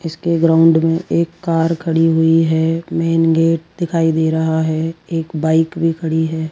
इसके ग्राउंड में एक कार खड़ी हुई है मेन गेट दिखाई दे रहा है एक बाइक भी खड़ी है।